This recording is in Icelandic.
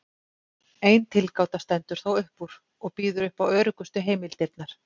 Ein tilgáta stendur þó upp úr og býður upp á öruggustu heimildirnar.